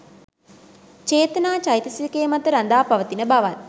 චේතනා චෛතසිකය මත රඳා පවතින බවත්